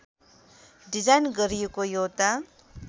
design गरिएको एउटा